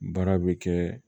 Baara bɛ kɛ